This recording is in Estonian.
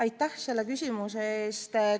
Aitäh selle küsimuse eest!